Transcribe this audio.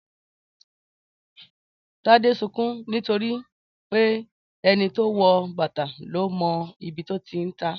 Tade ń sunkún nítorí pé ẹni tó wọ bàtà ló mọ ibi tó ti ń ta á